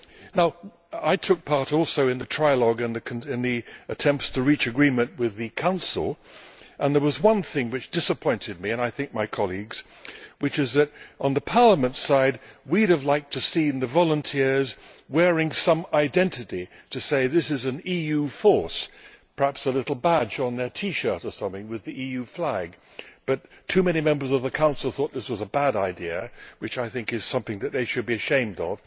Now I took part also in the trialogue and the attempts to reach agreement with the Council and there was one thing which disappointed me, and I think my colleagues, which is that on Parliamentʼs side we would have liked to have seen the volunteers wearing some identity to say that this is an EU force, perhaps a little badge on their T shirt or something with the EU flag. However too many Members of the Council thought that this was a bad idea, which, I think, is something that they should be ashamed of,